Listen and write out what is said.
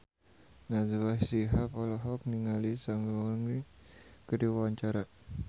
Najwa Shihab olohok ningali Seungri keur diwawancara